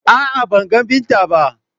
A'a ban ga Binta ba.